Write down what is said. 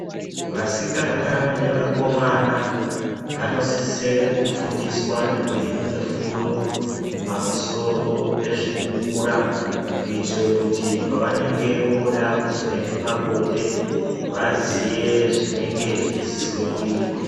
Vasikana nevakomana vanosise kufundiswa nekuhinwe fundo pamusoro pezvekukura kuitire kuti pavanenge voda kuzoenda pabonda vaziye zvenenge zveisiswa kuitwa.